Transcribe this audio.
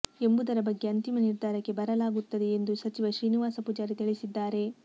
ಎಂಬುದರ ಬಗ್ಗೆ ಅಂತಿಮ ನಿರ್ಧಾರಕ್ಕೆ ಬರಲಾಗುತ್ತದೆ ಎಂದು ಸಚಿವ ಶ್ರೀನಿವಾಸ ಪೂಜಾರಿ ತಿಳಿಸಿದ್ದಾರೆ